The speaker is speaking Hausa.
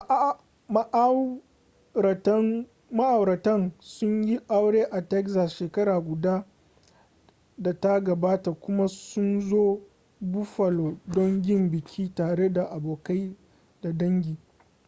ma'auratan sun yi aure a texas shekara guda da ta gabata kuma sun zo buffalo don yin biki tare da abokai da dangi